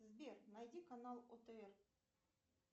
сбер найди канал отр